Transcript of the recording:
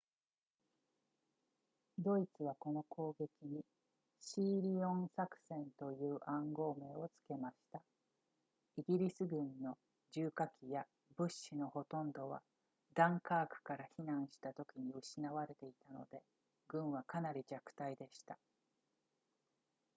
ドイツはこの攻撃にシーリオン作戦という暗号名を付けましたイギリス軍の重火器や物資のほとんどはダンカークから避難したときに失われていたので軍はかなり弱体でした